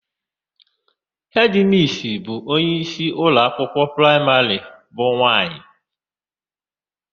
Hedịmissi bụ onyeisi ụlọakwụkwọ praịmarị bụ nwaanyị.